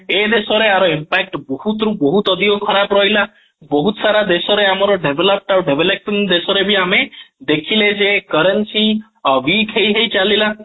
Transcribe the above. ଏ ଦେଶ ରେ ଏହାର impact ବହୁତ ରବହୁତ ରୁ ବହୁତ ଅଧିକ ଖରାପ ରହିଲା ବହୁତ ସାରା ଦେଶ ରେ ଆମର develop ଆଉ developing ଦେଶ ରେ ଆମେ ଦେଖିଲେ ଯେ currency weak ହେଇ ହେଇ ଚାଲିଲା